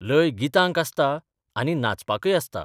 लय गितांक आसता आनी नाचपाकय आसता.